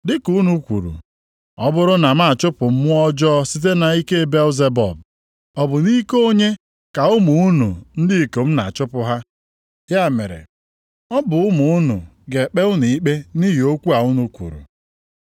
Dị ka unu kwuru, ọ bụrụ na m na-achụpụ mmụọ ọjọọ site nʼike Belzebub, ọ bụ nʼike onye ka ụmụ unu ndị ikom na-achụpụ ha? Ya mere, ọ bụ ụmụ unu ga-ekpe unu ikpe nʼihi okwu a unu kwuru.